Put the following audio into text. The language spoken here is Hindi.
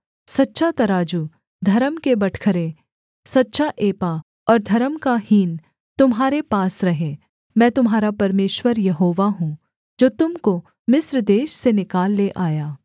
सच्चा तराजू धर्म के बटखरे सच्चा एपा और धर्म का हीन तुम्हारे पास रहें मैं तुम्हारा परमेश्वर यहोवा हूँ जो तुम को मिस्र देश से निकाल ले आया